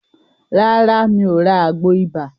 Rárá, mi ò ra àgbo ibà.